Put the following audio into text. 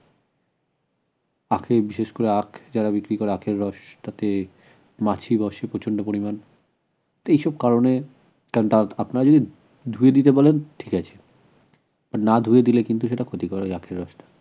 আখে বিশেষ করে যারা আখ বিক্রি করে আখের রসটাতে মাছি বসে প্রচন্ড পরিমান তো এইসব কারণে আপনারই ধুয়ে দিতে বলেন ঠিক আছে না ধুয়ে দিলে কিন্তু সেটা ক্ষতিকর হয় আখের রস টা